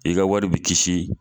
I ka wari bi kisi